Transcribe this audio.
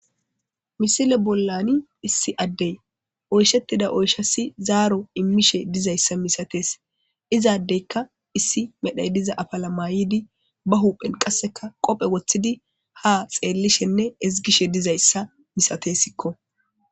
Missile bolan issi adey oyshetida oyshas zaro imishe dizaysa misates iza adeyka issi diza Medha ba uphen qaseka wotidine ezgishe dizaysa milatesko.